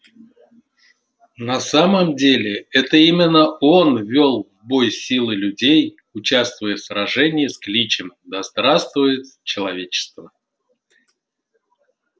на самом деле это именно он вёл в бой силы людей участвуя в сражении с кличем да здравствует человечество